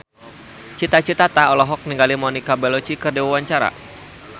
Cita Citata olohok ningali Monica Belluci keur diwawancara